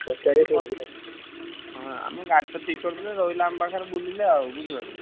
ହଁ ଆମ ଗାଡିଟା ଠିକ୍ କରିଦେଲେ ରହିଲା ଆମ ପାଖରେ ଆମେ ବୁଲିଲେ ଆଉ କଣ ଅଛି?